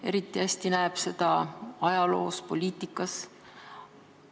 Eriti hästi näeb seda ajaloos ja poliitikas.